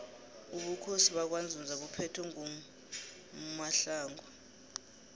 ubukhosi bakwanzunza buphethwe ngumohlongu